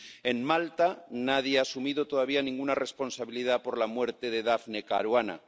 En Malta, nadie ha asumido todavía ninguna responsabilidad por la muerte de Daphne Caruana.